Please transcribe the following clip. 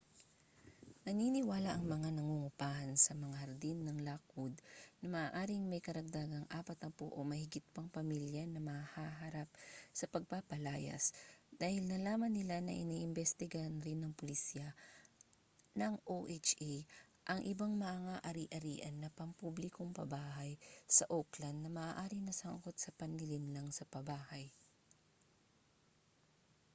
naniniwala ang mga nangungupahan sa mga hardin ng lockwood na maaaring may karagdagang 40 o mahigit pang pamilya na mahaharap sa pagpapalayas dahil nalaman nila na iniimbestigahan rin ng pulisya ng oha ang ibang mga ari-arian na pampublikong pabahay sa oakland na maaaring nasangkot sa panlilinlang sa pabahay